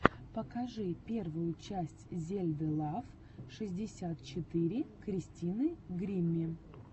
покажи первую часть зельды лав шестьдесят четыре кристины гримми